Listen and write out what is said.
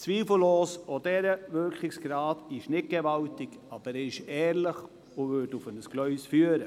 Zweifellos ist auch deren Wirkungsgrad nicht gewaltig, aber er ist ehrlich und würde auf ein Gleis führen.